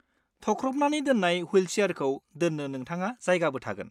थख्रबनानानै दोन्नाय ह्विलसियारखौ दोन्नो नोंथांहा जायगाबो थागोन।